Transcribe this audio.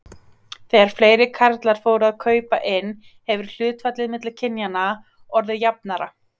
Þegar fleiri karlar fóru að kaupa inn hefur hlutfallið milli kynjanna orðið jafnara.